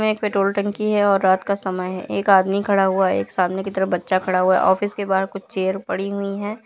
एक petrol tank की है और रात का समय है एक आदमी खड़ा हुआ है एक सामने की तरफ एक बच्चा खड़ा हुआ है ऑफिस के बाहर कुछ चेयर पड़ी हुई है।